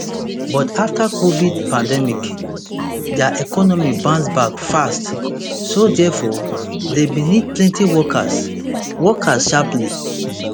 but afta covid pandemic dia economy bounce back fast so therefore dem bin need plenti workers workers sharply